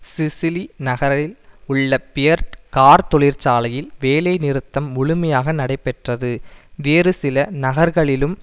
Sicily நகரில் உள்ள Fiat car தொழிற்சாலையில் வேலை நிறுத்தம் முழுமையாக நடைபெற்றது வேறு சில நகர்களிலும்